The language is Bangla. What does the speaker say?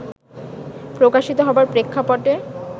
প্রকাশিত হবার প্রেক্ষাপটে